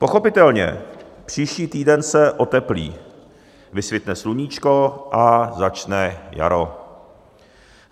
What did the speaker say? Pochopitelně, příští týden se oteplí, vysvitne sluníčko a začne jaro.